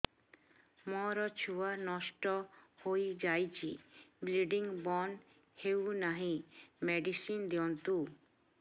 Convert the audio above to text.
ମୋର ଛୁଆ ନଷ୍ଟ ହୋଇଯାଇଛି ବ୍ଲିଡ଼ିଙ୍ଗ ବନ୍ଦ ହଉନାହିଁ ମେଡିସିନ ଦିଅନ୍ତୁ